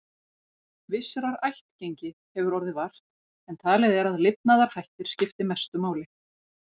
Vissrar ættgengi hefur orðið vart, en talið er að lifnaðarhættir skipti mestu máli.